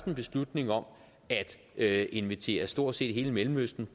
en beslutning om at invitere stort set hele mellemøsten